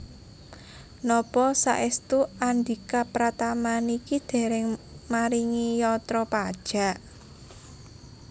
Napa saestu Andhika Pratama niki dereng maringi yatra pajak?